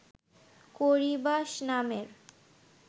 Corybas নামের